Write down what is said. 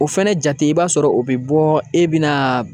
O fɛnɛ jate i b'a sɔrɔ o bɛ bɔ e bɛ na